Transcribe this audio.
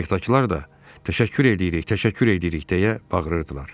Qayıqdakılar da: Təşəkkür edirik, təşəkkür edirik deyə bağırdılar.